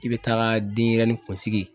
I bɛ taga denyɛrɛnin kunsigi